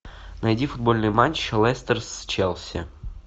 найди футбольный матч лестер с челси